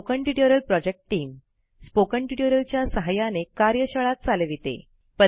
spoken tutorial project team spoken tutorial च्या सहाय्याने कार्यशाळा चालविते